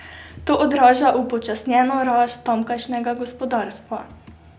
To odraža upočasnjeno rast tamkajšnjega gospodarstva.